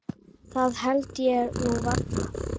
Það held ég nú varla.